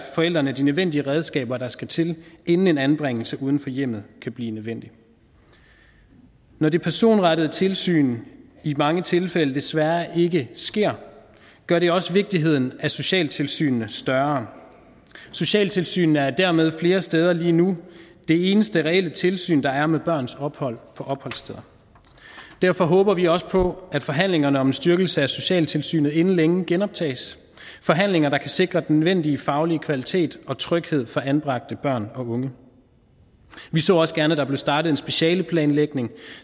forældrene de nødvendige redskaber der skal til inden en anbringelse uden for hjemmet kan blive nødvendig når det personrettede tilsyn i mange tilfælde desværre ikke sker gør det også vigtigheden af socialtilsynene større socialtilsynene er dermed flere steder lige nu det eneste reelle tilsyn der er med børns ophold på opholdssteder derfor håber vi også på at forhandlingerne om en styrkelse af socialtilsynet inden længe genoptages forhandlinger der kan sikre den nødvendige faglige kvalitet og tryghed for anbragte børn og unge vi så også gerne at der blev startet en specialeplanlægning